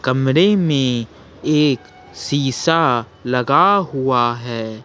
कमरे में एक शीशा लगा हुआ है।